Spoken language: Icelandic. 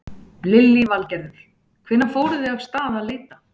Lillý Valgerður: Hvenær fóruð þið af stað að leita?